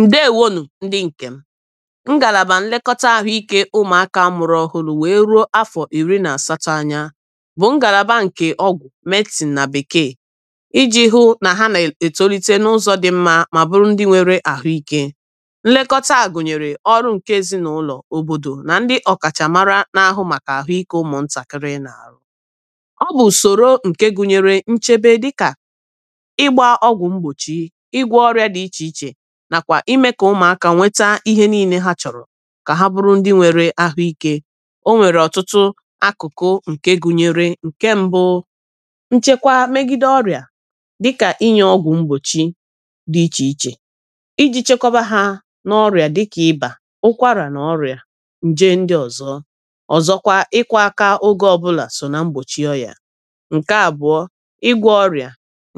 ǹdeewōō nụ̀ ndị ǹkè m ngàlàbà nlekọta ahụ ikē ụmụ̀aka amụ̀rụ̀ ọhụrụ wee ruō afọ̀ àsatọ anya bʊ́ ŋ́gàlàbà ŋ̀kè ɔ́gʷʊ̀ medsìn nà bèkee ijì hụ na ha nà ètolite na ụzọ dị nmā mà bụrụ ndị nwere ahụ ikē nlekọta gùnyèrè ọrụ ǹke èzinaulò òbòdò ndị òkàchamara na àhụ màkà àhụ ikē ụmụ̀ ntàkịrị nàrụ ọbụ̀ ùsòrò ǹke gụnyere nchebe dịkà ịgbā ọgwụ̀ mgbòchi ịgwō ọrịà dị ichè ichè nà kwà imē kà ụmụ̀aka nweta ihe niilē ha chọ̀rọ̀ kà ha bụrụ ndị nwere àhụ ikē onwèrè òtutu àkuku ǹke gunyere ǹke mbu nchekwa megide ọrịà dịkà inyē ọgwụ̀ mgbòchi dị ichè ichè ijī chekwaba ha na ọrịà dịkà ibà ụkwarà na ọrịà ǹje ndi ọzọ ọ̀zọkwa ịkwọ̄ akà ogè ọbụlà so nà mgbochi oyà ǹke àbụ̀ọ ịgwọ̄ orịà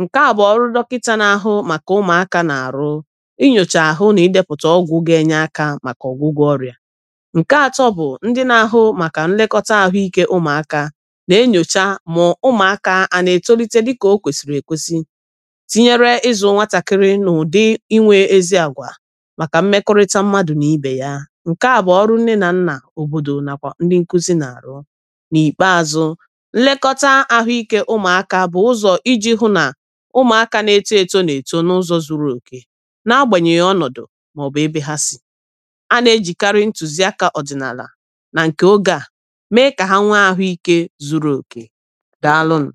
ǹke bụ ọrụ dokịtà nà àhụ màkà ụmụ̀akā nà àrụ inyòcha àhụ nà idēpụ̀tà ọgwụ̀ ga ènye akā màkà ọ̀gwụgwọ ọrịà ǹke atọ bụ̀ ndị nà ahụ màkà nlekọta àhụ ikē ụmụ̀aka na enyòcha ma ụmụ̀aka a na ètolite dịkà okwèsìrì èkwesi tinyere izụ̀ nwatàkiri nà ụ̀dị inwē ezi àgwà màkà mmekọrịta mmadụ̀ nà ibè ǹke a bụ̀ ọrụ nne nà nnà òbòdò nà kwà ndị nkuzi nà àrụ nà ìkpeāzụ nlekọta ahụ ikē ụmụ̀aka bụ̀ ụzọ̀ ijì hụ nà ụmụ̀aka na eto etō nà èto na ụzọ̀ zuru òkè na agbànyè ọnọ̀dụ̀ mà ọ̀bụ̀ ébé ha sì a nà ejìkarị ntùziakā ọ̀dìnàlà nà ǹke ogè a mee kà ha nwee ahụ ikē zuru òkè daalu nụ̀